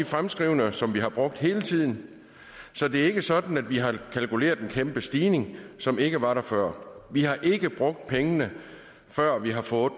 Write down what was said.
fremskrivninger som vi har brugt hele tiden så det er ikke sådan at vi har kalkuleret med en kæmpe stigning som ikke var der før vi har ikke brugt pengene før vi har fået